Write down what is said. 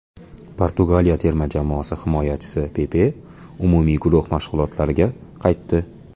Portugaliya terma jamoasi himoyachisi Pepe umumiy guruh mashg‘ulotlariga qaytdi.